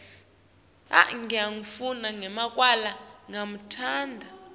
sakho saliwe asikemukelwa